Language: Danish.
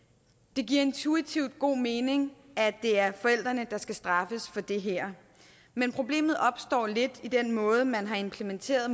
det giver intuitivt god mening at det er forældrene der skal straffes for det her men problemet opstår lidt i den måde man har implementeret